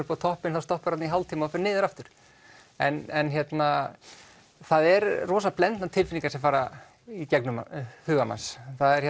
upp á toppinn þá stopparðu í hálftíma og ferð niður aftur en það eru rosalega blendnar tilfiningar sem fara í gegnum huga manns